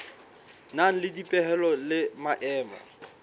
nang le dipehelo le maemo